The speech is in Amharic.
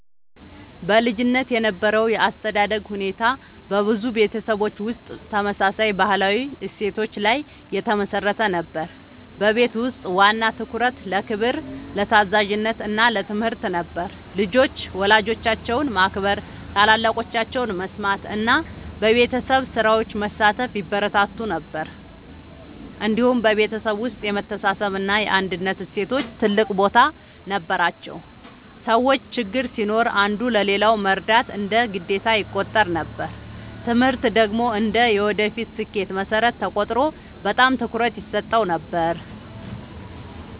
በልጅነት የነበረው የአስተዳደግ ሁኔታ በብዙ ቤተሰቦች ውስጥ ተመሳሳይ ባህላዊ እሴቶች ላይ የተመሠረተ ነበር። በቤት ውስጥ ዋና ትኩረት ለክብር፣ ለታዛዥነት እና ለትምህርት ነበር። ልጆች ወላጆቻቸውን ማክበር፣ ታላላቆቻቸውን መስማት እና በቤተሰብ ስራዎች መሳተፍ ይበረታታ ነበር። እንዲሁም በቤተሰብ ውስጥ የመተሳሰብ እና የአንድነት እሴቶች ትልቅ ቦታ ነበራቸው። ሰዎች ችግር ሲኖር አንዱ ለሌላው መርዳት እንደ ግዴታ ይቆጠር ነበር። ትምህርት ደግሞ እንደ የወደፊት ስኬት መሠረት ተቆጥሮ በጣም ትኩረት ይሰጠው ነበር።